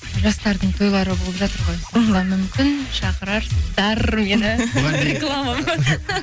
жастардың тойлары болып жатыр ғой мхм мүмкін шақырарсыздар мені реклама ма